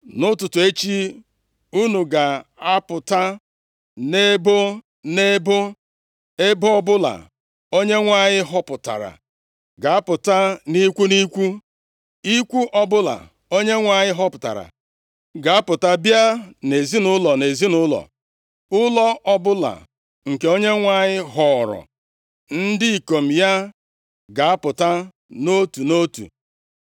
“ ‘Nʼụtụtụ echi, unu ga-apụta nʼebo nʼebo. Ebo ọbụla Onyenwe anyị họpụtara ga-apụta nʼikwu nʼikwu, + 7:14 Ọ bụ nkume abụọ a na-eji ajụta ase nʼihu Chineke, nke a na-akpọ Urim na Tumim, ka ha ji chọpụta eziokwu banyere ihe mere. \+xt Ọpụ 28:30; Lev 8:8; Ọnụ 27:21; 1Sa 28:6; Ezr 2:63; Neh 7:63-65\+xt* ikwu ọbụla Onyenwe anyị họpụtara ga-apụta bịa nʼezinaụlọ nʼezinaụlọ, ụlọ ọbụla nke Onyenwe anyị họọrọ, ndị ikom ya ga-apụta nʼotu nʼotu.